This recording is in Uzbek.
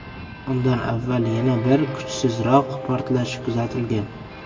Undan avval yana bir, kuchsizroq portlash kuzatilgan.